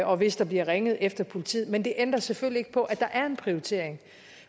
og hvis der bliver ringet efter politiet men det ændrer selvfølgelig på at der er en prioritering